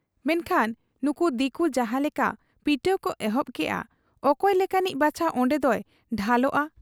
ᱢᱮᱱᱠᱷᱟᱱ ᱱᱩᱠᱩ ᱫᱤᱠᱩ ᱡᱟᱦᱟᱸ ᱞᱮᱠᱟ ᱯᱤᱴᱟᱹᱣ ᱠᱚ ᱮᱦᱚᱵ ᱠᱮᱜ ᱟ, ᱚᱠᱚᱭ ᱞᱮᱠᱟᱱᱤᱡ ᱵᱟᱪᱷᱟ ᱚᱱᱰᱮᱫᱚᱭ ᱰᱷᱟᱞᱚᱜ ᱟ ᱾